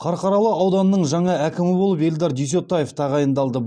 қарқаралы ауданының жаңа әкімі болып эльдар дүйсетаев тағайындалды